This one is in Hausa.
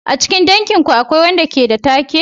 A cikin danginku akwai wanda ke da take?